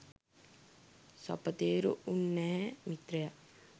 සපතේරු උන්නැහේ මිත්‍රයා